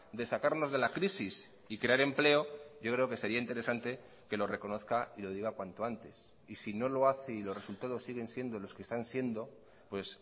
de sacarnos de la crisis y crear empleo yo creo que sería interesante que lo reconozca y lo diga cuanto antes y si no lo hace y los resultados siguen siendo los que están siendo pues